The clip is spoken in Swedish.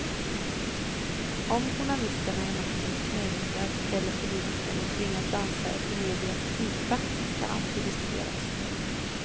Om journalisterna är maktens knähundar eller politikerna tvingas dansa efter medias pipa kan alltid diskuteras.